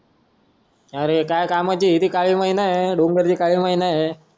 काय कामाची ती काली मैना हे